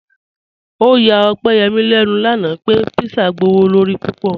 Ọ̀yà Ọ̀pẹ́yẹ́mí lẹ́nu lánà pẹ̀ pízzà gbọwọ̀lọ̀rí púpọ̀.